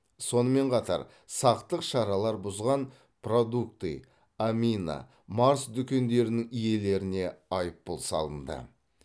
сонымен қатар сақтық шаралар бұзған продукты амина марс дүкендерінің иелеріне айыпұл салынды